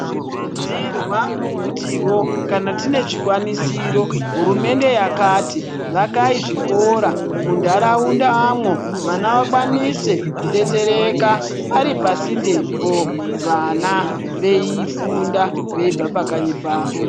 Tinokurudzirwa kutiwo kana tinochikwanisiro hurumende yakati vakai zvikora munharaundamwo vana Vakwanise kudetsereka paripasendepo veifunda veibva pakanyi pawo.